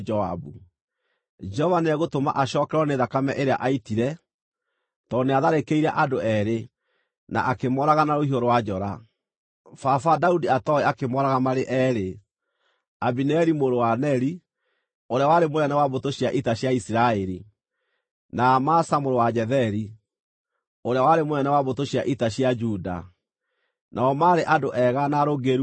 Jehova nĩegũtũma acookererwo nĩ thakame ĩrĩa aaitire, tondũ nĩatharĩkĩire andũ eerĩ, na akĩmooraga na rũhiũ rwa njora, baba Daudi atooĩ akĩmooraga marĩ eerĩ, Abineri mũrũ wa Neri, ũrĩa warĩ mũnene wa mbũtũ cia ita cia Isiraeli, na Amasa mũrũ wa Jetheri, ũrĩa warĩ mũnene wa mbũtũ cia ita cia Juda, nao maarĩ andũ ega na arũngĩrĩru kũmũkĩra.